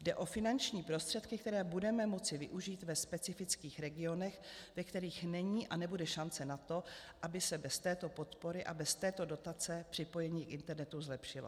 Jde o finanční prostředky, které budeme moci využít ve specifických regionech, ve kterých není a nebude šance na to, aby se bez této podpory a bez této dotace připojení k internetu zlepšilo."